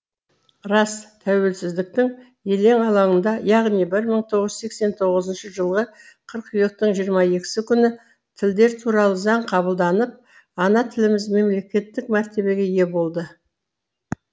рас тәуелсіздіктің елең алаңында яғни бір мың тоғыз жүз сексен тоғызыншы жылғы қыркүйектің жиырма екісі күні тілдер туралы заң қабылданып ана тіліміз мемлекеттік мәртебеге ие болды